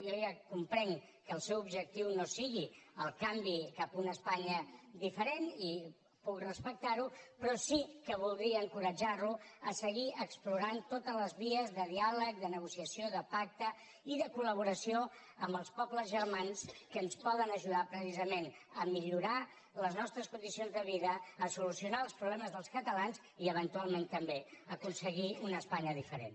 jo ja comprenc que el seu objectiu no sigui el canvi cap a una espanya diferent i puc respectar ho però sí que voldria encoratjar lo a seguir explorant totes les vies de diàleg de negociació de pacte i de col·laboració amb els pobles germans que ens poden ajudar precisament a millorar les nostres condicions de vida a solucionar els problemes dels catalans i eventualment també a aconseguir una espanya diferent